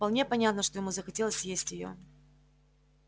вполне понятно что ему захотелось съесть её